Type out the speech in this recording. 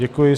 Děkuji.